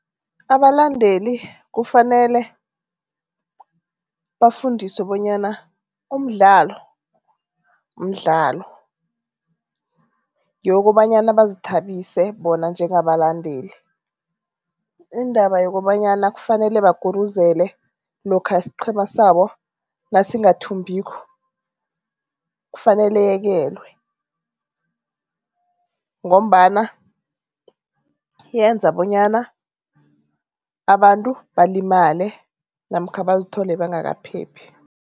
Abalandeli kufanele bafundiswe bonyana umdlalo mdlalo, yokobanyana bazithabise bona njengabalandeli. Indaba yokobanyana kufanele baguruzele lokha isiqhema sabo nasingathumbiko kufanele iyekelwe ngombana yenza bonyana abantu balimale namkha bazithole bangakaphephi.